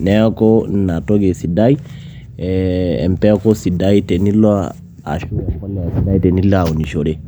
Neeku ina toki esidai, empeku sidai tenilo ashu empolea sidai tenilo aunishore.